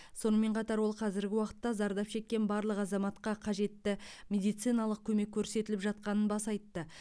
сонымен қатар ол қазіргі уақытта зардап шеккен барлық азаматқа қажетті медициналық көмек көрсетіліп жатқанын баса айтты